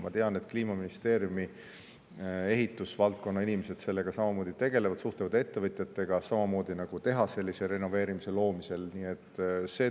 Ma tean, et Kliimaministeeriumi ehitusvaldkonna inimesed tegelevad sellega samuti, suhtlevad ettevõtjatega samamoodi, nagu tehaselise renoveerimise loomisel.